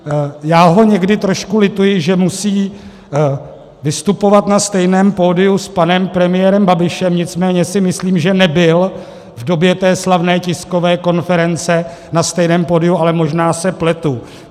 Já ho někdy trošku lituji, že musí vystupovat na stejném pódiu s panem premiérem Babišem, nicméně si myslím, že nebyl v době té slavné tiskové konference na stejném pódiu, ale možná se pletu.